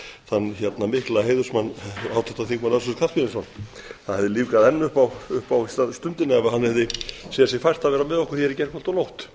þann mikla heiðursmann háttvirtan þingmann össur skarphéðinsson það hefði lífgað enn upp á stundina ef hann hefði séð sér fært að vera með okkur hér í gærkvöldi og nótt